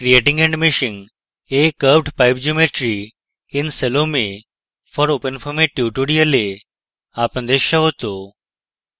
creating and meshing a curvedpipe geometry in salome for openfoam এর tutorial আপনাদের স্বাগত